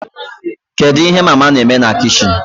Kedu ihe mama na-eme na kichin?